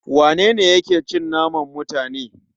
Wanene yake cin naman mutane?